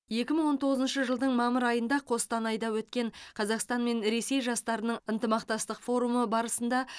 екі мың он тоғызыншы жылдың мамыр айында қостанайда өткен қазақстан мен ресей жастарының ынтымақтастық форумы барысында